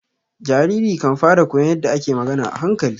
Jariri kan fara koyon yadda ake magana a hankali.